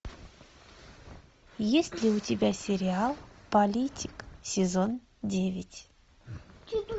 есть ли у тебя сериал политик сезон девять